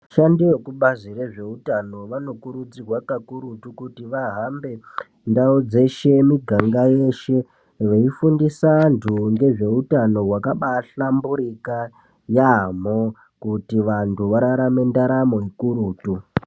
Vashandi vekubazi rezveutano vanokurudzirwa kakurutu kuti vahambe ndau dzeshe miganga yeshe, veifundisa anthu ngezveutano wakabaahlamburika yaamho kuti vanhu vararame ndaramo ikurutu.